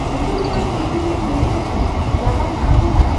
ᱦᱤᱡᱩᱜ ᱠᱟᱱ ᱠᱤᱪᱷᱩᱫᱤᱱ ᱢᱩᱫ ᱨᱮᱠᱤ ᱨᱟᱵᱟᱝ ᱟᱲᱜᱚᱱᱟ